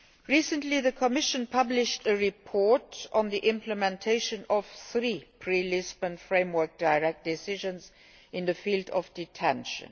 Recently the Commission published a report on the implementation of three pre Lisbon framework decisions in the field of detention.